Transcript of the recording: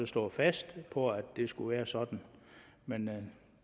stået fast på at det skulle være sådan men